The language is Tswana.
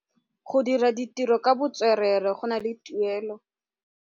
Go dira ditirô ka botswerere go na le tuelô.